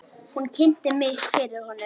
Hún kynnti mig fyrir honum.